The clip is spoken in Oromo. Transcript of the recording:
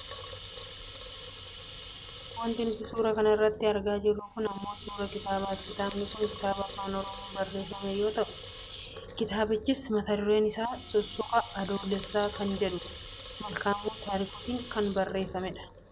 Wanti nuti suuraa kana irratti argaa jirru kun ammoo suuraa kitaabaati. Kitaabni kun kitaaba afaan Oromoon barreeffame yoo ta'u kitaabichis mata dureen isaa" sussuka adoolessaa" kan jedhudha. Malkaamuu Taarikuun barreeffame.